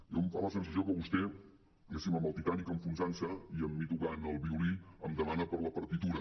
em fa la sensació que vostè diguéssim amb el titanic enfonsant se i amb mi tocant el violí em demana per la partitura